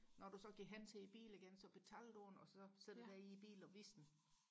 når du så går hen til din bil igen så betaler du den og så sætter du dig i bilen og viser den